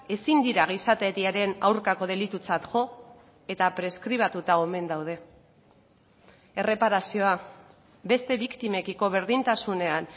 ezin dira gizateriaren aurkako delitutzat jo eta preskribatuta omen daude erreparazioa beste biktimekiko berdintasunean